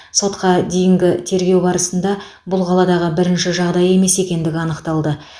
сотқа дейінгі тергеу барысында бұл қаладағы бірінші жағдай емес екендігі анықталды